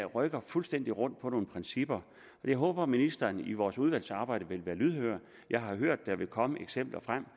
rykker fuldstændig rundt på nogle principper jeg håber at ministeren i vores udvalgsarbejde vil være lydhør jeg har hørt at der vil komme eksempler frem